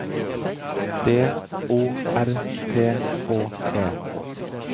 D O R T H E